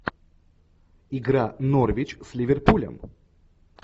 игра норвич с ливерпулем